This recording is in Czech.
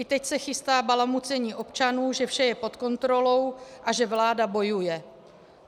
I teď se chystá balamucení občanů, že vše je pod kontrolou a že vláda bojuje.